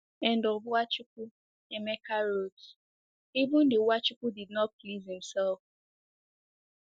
And of Nwachukwu, Emeka wrote: “Even the Nwachukwu did not please himself.”